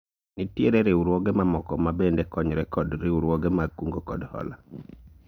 Nitiere riwruoge mamoko ma bende konyore kod riwruoge mag kungo kod hola